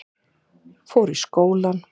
Fór í skólann.